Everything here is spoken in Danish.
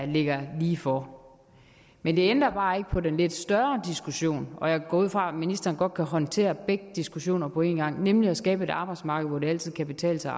ligger lige for men det ændrer bare ikke på den lidt større diskussion og jeg går ud fra at ministeren godt kan håndtere begge diskussioner på en gang nemlig om at skabe et arbejdsmarked hvor det altid kan betale sig